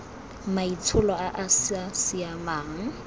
maitsholo a a sa siamang